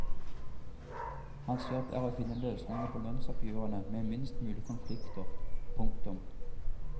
Hans jobb er å finne løsninger på lønnsoppgjørene med minst mulig konflikter. punktum